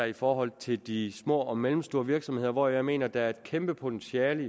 i forhold til de små og mellemstore virksomheder hvor jeg mener at der er et kæmpe potentiale